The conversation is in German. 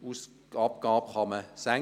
Die Ausgaben können also gesenkt werden.